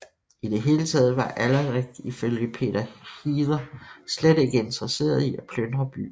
I det hele taget var Alarik i følge Peter Heather slet ikke interesseret i at plyndre byen